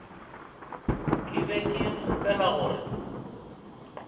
ke be ke kgopela gore